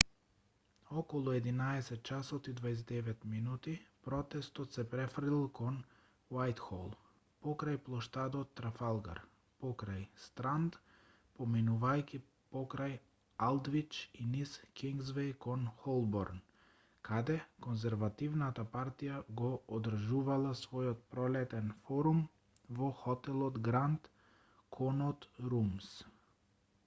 околу 11:29 ч протестот се префрлил кон вајтхол покрај плоштадот трафалгар покрај странд поминувајќи покрај алдвич и низ кингсвеј кон холборн каде конзервативната партија го одржувала својот пролетен форум во хотелот гранд конот румс